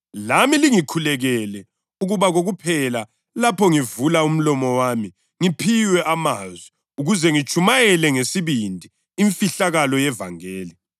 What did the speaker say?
Khulekani ngoMoya ezikhathini zonke ngezinhlobo zonke zemikhuleko lezicelo. Lilalokhu emicabangweni, qaphelani liqhubeke kokuphela libakhulekela bonke abantu beNkosi abangcwele.